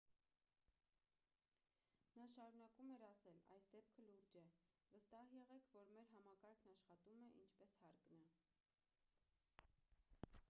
նա շարունակում էր ասել․«այս դեպքը լուրջ է։ վստահ եղեք որ մեր համակարգն աշխատում է ինչպես հարկն է»։